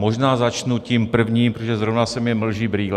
Možná začnu tím prvním, protože zrovna se mi mlží brýle.